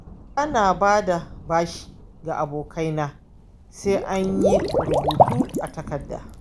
Ba na ba da bashi ga abokaina sai an yi rubutu a takarda.